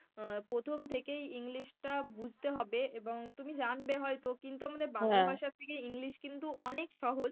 আহ প্রথম থেকেই english টা বুঝতে হবে এবং তুমি জানবে হয়তো কিন্তু আমাদের বাংলা ভাষার থেকে english কিন্তু অনেক সহজ, অনেক সহজ।